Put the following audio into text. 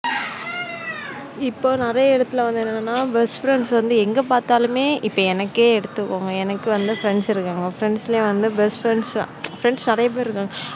இப்போ நிறைய இடத்துல வந்து என்னன்னா best friends வந்து எங்கே பார்த்தாலுமே இப்போ எனக்கே எடுத்துக்கோங்க எனக்கு வந்து friends இருக்காங்க friends லேயேவந்து best friends நிறைய பேர் இருக்காங்க.